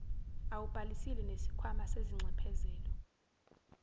awubhalisile nesikhwama sezinxephezelo